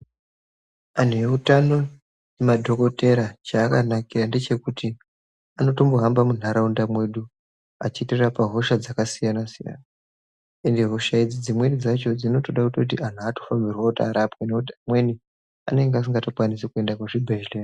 Anhu e utano madhokotera cha aka nakira ndechekuti anotombo hamba mu ndaraunda medu achiti rapa hoshaa dzaka siyana siyana ende hosha idzi dzimweni dzacho dzinotoda kutoti antu atonambirwe kuti arapwe ngekuti amweni anenge asingato kwanisi kuende ku zvibhedhlera.